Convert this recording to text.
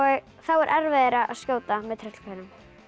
er erfiðara að skjóta með tröllkarlinum